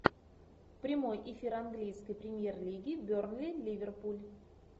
прямой эфир английской премьер лиги бернли ливерпуль